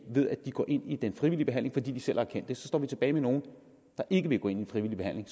ved at de går ind i den frivillige behandling fordi de selv har erkendt det så står vi tilbage med nogle der ikke vil gå ind i en frivillig behandling